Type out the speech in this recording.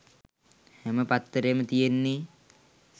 හැම පත්තරේම තියෙන්නෙ